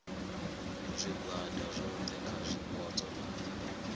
zwigwada zwohe kha zwipotso na